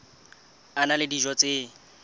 a na le dijo tse